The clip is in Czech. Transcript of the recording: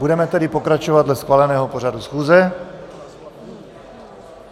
Budeme tedy pokračovat dle schváleného pořadu schůze.